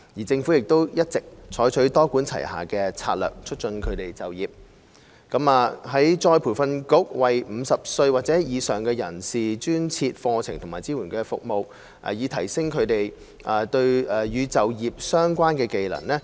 政府亦一直採取多管齊下的策略，促進他們就業。僱員再培訓局為50歲或以上人士專設課程及支援服務，以提升他們與就業相關的技能。